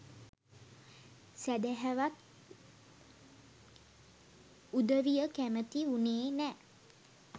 සැදැහැවත් උදවිය කැමති වුනේ නෑ